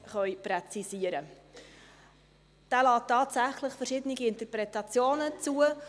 Er lässt tatsächlich verschiedene Interpretationen zu.